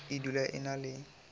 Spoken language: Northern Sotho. e dula e na le